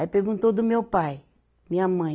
Aí perguntou do meu pai, minha mãe.